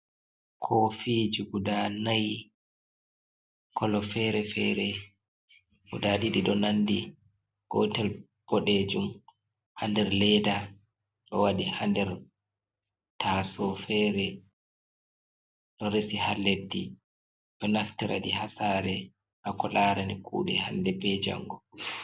Kofiji guda nai kolo fere fere guda ɗiɗi nandi, gotel boɗejum ha nder leda ɗowaɗi ha nder taso fere ɗo resi ha leddi, ɗo naftiraɗi hasare hako larani kuɗe hande be jango.